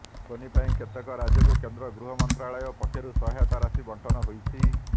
ଫୋନି ପାଇଁ କେତେକ ରାଜ୍ୟକୁ କେନ୍ଦ୍ର ଗୃହମନ୍ତ୍ରାଳୟ ପକ୍ଷରୁ ସହାୟତା ରାଶି ବଣ୍ଟନ ହୋଇଛି